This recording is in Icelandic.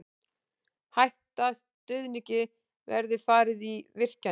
Hætta stuðningi verði farið í virkjanir